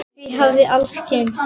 Því hafa allir kynnst.